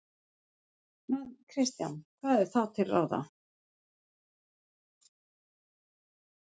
Kristján: Hvað er þá til ráða?